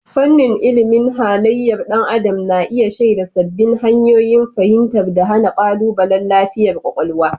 Fannin ilimin halayyar ɗan adam na iya shaida sabbin hanyoyin fahimtar da hana ƙalubalen lafiyar kwakwalwa.